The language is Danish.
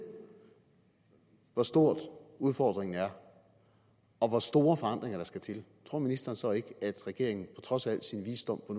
hvor stor udfordringen er og hvor store forandringer der skal til tror ministeren så ikke at regeringen trods al sin visdom på